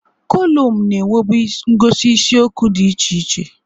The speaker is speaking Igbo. Kolụmụ na-enwebu ngosi isiokwu dị iche iche.